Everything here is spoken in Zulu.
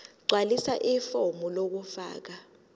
gqwalisa ifomu lokufaka